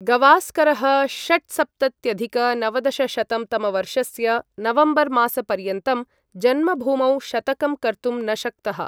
गवास्करः षट्सप्तत्यधिक नवदशशतं तमवर्षस्य नवम्बर् मासपर्यन्तं जन्मभूमौ शतकं कर्तुं न शक्तः।